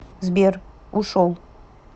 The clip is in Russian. сбер ушел